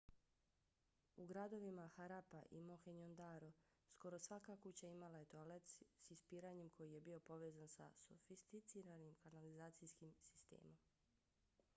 u gradovima harappa i mohenjo-daro skoro svaka kuća imala je toalet s ispiranjem koji je bio povezan sa sofisticiranim kanalizacijskim sistemom